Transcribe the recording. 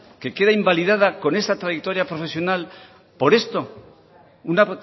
que queda invalidada con esa trayectoria profesional por esto una